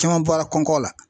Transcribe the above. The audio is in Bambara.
Caman bɔra kɔnkɔ la.